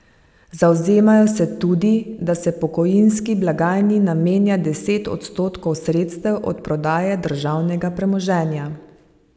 Zavzemajo se tudi, da se pokojninski blagajni namenja deset odstotkov sredstev od prodaje državnega premoženja.